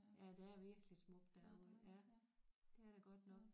Ja der er virkelig smukt derude ja det er der godt nok